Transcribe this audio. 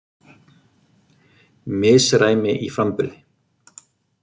Misræmi í framburði